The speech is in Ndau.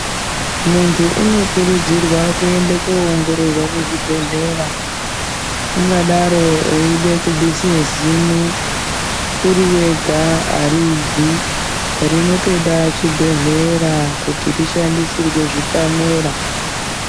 Mundu unokurudzirwa kuende koongororwa kuzvibhedhlera ungadaro eyida kubvise zino uri wega aribvi rinotoda chibhedhlera kuti rishandisirwe zvipanera.